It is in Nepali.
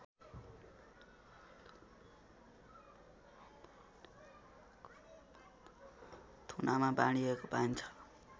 थुनामा बाँडिएको पाइन्छ